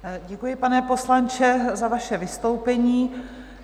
Děkuji, pane poslanče za vaše vystoupení.